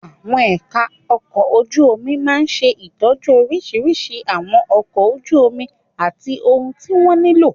Àwọn ẹ̀ka ọkọ̀ ojú omi máa ń ṣe ìtọ́jú oríṣiríṣi ìwọ̀n ọkọ̀ ojú omi àti ohun tí wọ́n nílò.